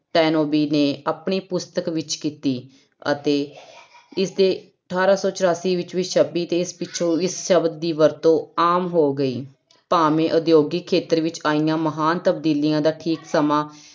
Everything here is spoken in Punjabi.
ਤਾਇਨੋਵੀ ਨੇ ਆਪਣੀ ਪੁਸਤਕ ਵਿੱਚ ਕੀਤੀ ਅਤੇ ਇਸਦੇ ਅਠਾਰਾਂ ਸੌ ਚੁਰਾਸੀ ਵਿੱਚ ਵੀ ਛਪੀ ਤੇ ਇਸ ਪਿੱਛੋਂ ਇਸ ਸ਼ਬਦ ਦੀ ਵਰਤੋਂ ਆਮ ਹੋ ਗਈ, ਭਾਵੇਂ ਉਦਯੋਗਿਕ ਖੇਤਰ ਵਿੱਚ ਆਈਆਂ ਮਹਾਨ ਤਬਦੀਲੀਆਂ ਦਾ ਠੀਕ ਸਮਾਂ